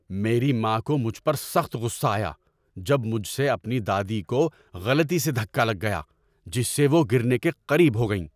میری ماں کو مجھ پر سخت غصہ آیا جب مجھ سے اپنی دادی کو غلطی سے دھکا لگ گیا جس سے وہ گرنے کے قریب ہو گئیں۔